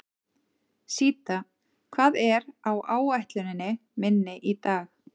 Síta, hvað er á áætluninni minni í dag?